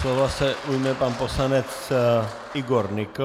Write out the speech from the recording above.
Slova se ujme pan poslanec Igor Nykl.